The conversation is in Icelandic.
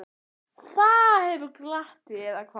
Það hefur glatt þig, eða hvað?